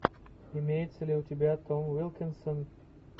имеется ли у тебя том уилкинсон